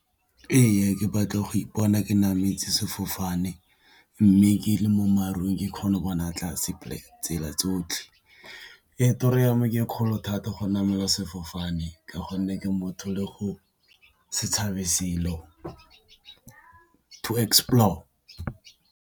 Ee, ke batla go ipona ke nametse sefofane, mme ke le mo marung ke kgona go bona tlase tsela tsotlhe. Toro ya me ke e kgolo thata go namela sefofane ka gonne ke motho le go se tshabe to explore.